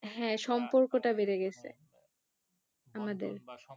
হ্যাঁ সম্পর্কটা বেড়ে গেছে আমাদের